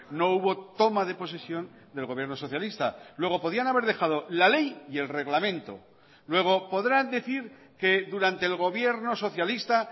no hubo toma de posesión del gobierno socialista luego podían haber dejado la ley y el reglamento luego podrán decir que durante el gobierno socialista